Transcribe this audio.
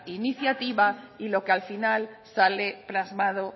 iniciativa y lo que al final sale plasmado